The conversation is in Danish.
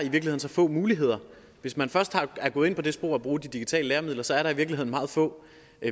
så få muligheder hvis man først er gået ind på det spor at bruge de digitale læremidler er der i virkeligheden meget få